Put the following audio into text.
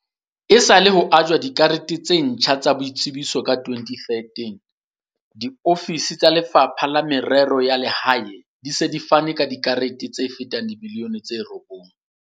Esale ho ajwa dikarete tse ntjha tsa boitsebiso ka 2013, diofisi tsa Lefapha la Merero ya Lehae di se di fane ka dikarete tse fetang dimiliyone tse robong.